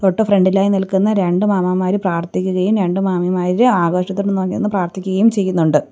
ട്ട് ഫ്രണ്ട്‌ ഇലായി നിൽക്കുന്ന രണ്ട് മാമന്മാര് പ്രാർത്ഥിക്കുകയും രണ്ടു മാമിമാര് ആകാശത്തോട്ട് നോക്കി നിന്ന് പ്രാർത്ഥിക്കുകയും ചെയ്യുന്നൊണ്ട്.